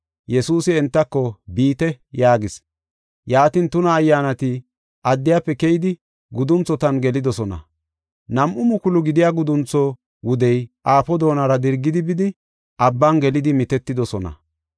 Yesuusi entako, “Biite” yaagis. Yaatin tuna ayyaanati addiyafe keyidi gudunthotan gelidosona. Nam7u mukulu gidiya guduntho wudey aafo doonara dirgidi bidi abban gelidi mitetidosona.